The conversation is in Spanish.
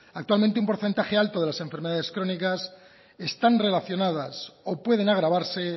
actualmente un porcentaje alto de las enfermedades crónicas están relacionadas o pueden agravarse